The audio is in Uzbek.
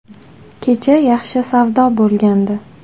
“Kecha yaxshi savdo bo‘lgandi.